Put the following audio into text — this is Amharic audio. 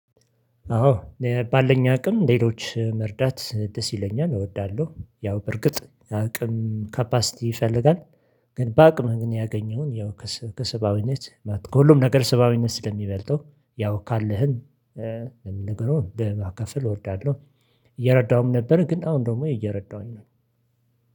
አዎ ባለኝ አቅም ሌሎች መርዳት ደስ ይለኛል እወዳለሁ ያው በርግጥ አቅም ካፓሲቲ ይፈልጋል። ግን በአቅምህ ግን ያገኘውን ያው ከሰብአዊነት ከሁሉም ነገር ሰብአዊነት ስለሚበልጠው ያው ካለህም ለሚነግረው ለ ማከፋል እወዳለሁ። እየረዳሁም ነበር ግን አሁን ደሞ እየረዳሁኝ ነው።